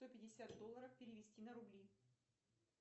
сто пятьдесят долларов перевести на рубли